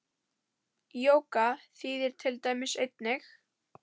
Jóga þýðir til dæmis eining.